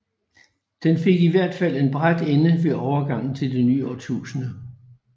Den fik i hvert fald en brat ende ved overgangen til det nye årtusinde